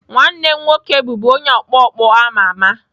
Nwanne m nwoke bụbu onye ọkpọ ọkpọ a ma ama.